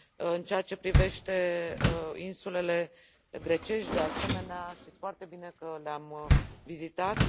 În ceea ce privește insulele grecești, de asemenea, știți foarte bine că le am vizitat.